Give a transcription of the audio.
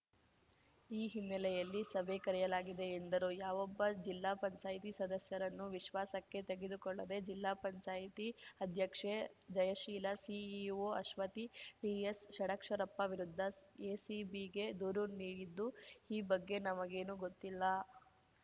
ಈ ಹಿನ್ನೆಲೆಯಲ್ಲಿ ಸಭೆ ಕರೆಯಲಾಗಿದೆ ಎಂದರು ಯಾವೊಬ್ಬ ಜಿಲ್ಲಾ ಪಂಚಾಯ್ತಿ ಸದಸ್ಯರನ್ನೂ ವಿಶ್ವಾಸಕ್ಕೆ ತೆಗೆದುಕೊಳ್ಳದೇ ಜಿಲ್ಲಾ ಪಂಚಾಯ್ತಿ ಅಧ್ಯಕ್ಷೆ ಜಯಶೀಲ ಸಿಇಒ ಅಶ್ವತಿ ಡಿಎಸ್‌ ಷಡಕ್ಷರಪ್ಪ ವಿರುದ್ಧ ಎಸಿಬಿಗೆ ದೂರು ನೀಡಿದ್ದು ಈ ಬಗ್ಗೆ ನಮಗೇನೂ ಗೊತ್ತಿಲ್ಲ